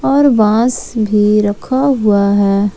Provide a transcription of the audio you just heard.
और बांस भी रखा हुआ है।